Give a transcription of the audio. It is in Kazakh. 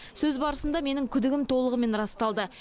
сөз барысында менің күдігім толығымен расталды